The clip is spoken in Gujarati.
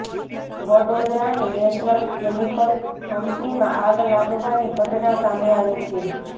વડોદરાની નેશનલ કેમિકલ કંપનીમાં આગ લાગવાની ઘટના સામે આવી છે